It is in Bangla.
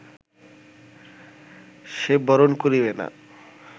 সে বরণ করিবে না